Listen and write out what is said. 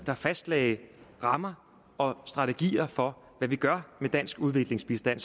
der fastlagde rammer og strategier for hvad vi gør med dansk udviklingsbistand